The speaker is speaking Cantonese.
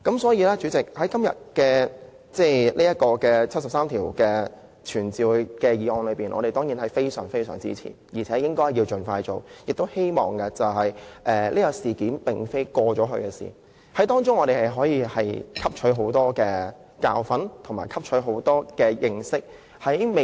主席，今天這項根據《基本法》第七十三條傳召政府官員的議案，我們當然非常支持，並認為應該盡快實行，而且此事並非已過去的事情，我們可以在當中汲取很多教訓和經驗。